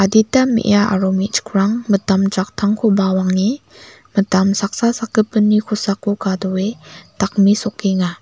adita me·a aro me·chikrang mitam jaktangko bawange mitam saksa sakgipinni kosako gadoe dakmesokenga.